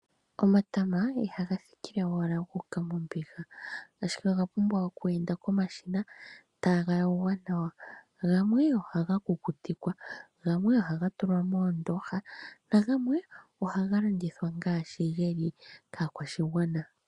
Omatama ihaga thikile owala gu uka mombiga. Ashike oga pumbwa oku enda komashina taga yogwa nawa. Gamwe ohaga kukutikwa, gamwe ohaga tulwa moondooha nagamwe ohaga landithwa ngaashi geli kaakwashigwana.